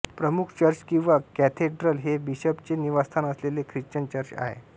प्रमुख चर्च किंवा कॅथेड्रल हे बिशपचे निवासस्थान असलेले ख्रिश्चन चर्च आहे